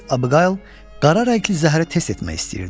Miss Abuqayl qara rəngli zəhəri test etmək istəyirdi.